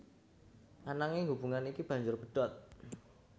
Ananging hubungan iki banjur pedhot